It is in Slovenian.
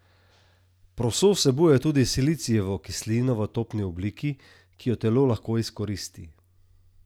Proso vsebuje tudi silicijevo kislino v topni obliki, ki jo telo lahko izkoristi.